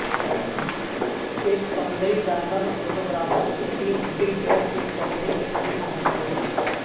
ایک سمندری جانور photographer Etienne Littlefair کے کیمرے کے قریب پہنچ گیا